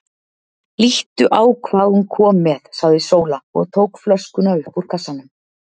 Líttu á hvað hún kom með, sagði Sóla og tók flöskuna upp úr kassanum.